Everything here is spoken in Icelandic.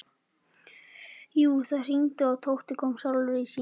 Jú, það hringdi og Tóti kom sjálfur í símann.